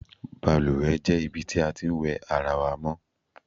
Balùwè jé̩ ibi tí a ti ń wè̩ ara wa mó̩.